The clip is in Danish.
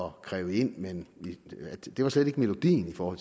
at kræve ind det var slet ikke melodien for